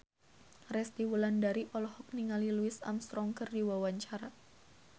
Resty Wulandari olohok ningali Louis Armstrong keur diwawancara